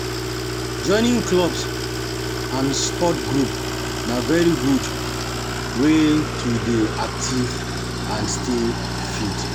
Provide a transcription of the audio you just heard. Joining clubs and sport group na very good wey to dey active and stay fit